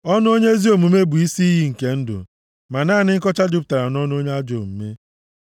Ọnụ onye ezi omume bụ isi iyi nke ndụ, ma naanị nkọcha jupụtara nʼọnụ onye ajọ omume.